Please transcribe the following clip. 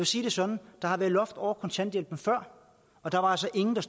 sige det sådan der har været loft over kontanthjælpen før og der var altså ingen der